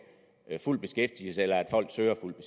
fuld beskæftigelse eller at folk søger fuld